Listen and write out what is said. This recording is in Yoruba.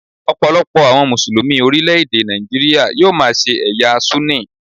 Ọ̀pọ̀lọpọ̀ àwọn Mùsùlùmí orílẹ̀ èdè Nàìjíríà yóò máa ṣe ẹ̀yà Súnì.